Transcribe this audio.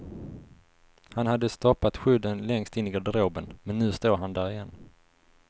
Han hade stoppat skydden längst in i garderoben men nu står han där igen.